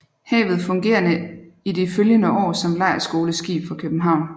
Havet fungerede i de følgende år som lejrskoleskib fra København